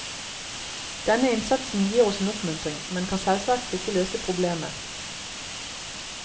Denne innsatsen gir oss en oppmuntring, men kan selvsagt ikke løse problemet.